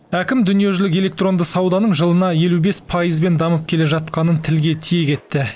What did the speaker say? әкім дүниежүзілік электронды сауданың жылына елу бес пайызбен дамып келе жатқанын тілге тиек етті